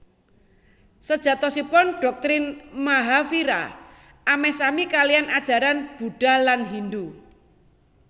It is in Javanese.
Sejatosipun doktrin Mahavira ameh sami kaliyan ajaran Budha lan Hindu